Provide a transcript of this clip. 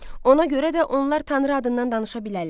Ona görə də onlar tanrı adından danışa bilərlər.